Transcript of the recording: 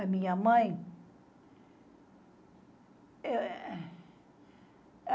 A minha mãe?